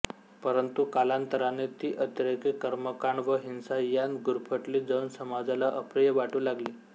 परंतु कालांतराने ती अतिरेकी कर्मकांड व हिंसा यांत गुरफटली जाऊन समाजाला अप्रिय वाटू लागली